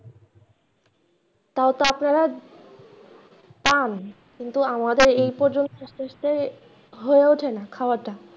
তাও তো আপনারা যান কিন্তু আমাদের এই পর্যন্ত যেতে হয়ে ওঠে না খাওয়াটা।